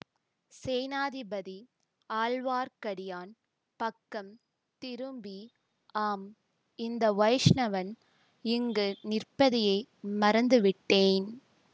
சேநாதிபதி ஆழ்வார்க்கடியான் பக்கம் திரும்பி ஆம் இந்த வைஷ்ணவன் இங்கு நிற்பதையே மறந்துவிட்டேன்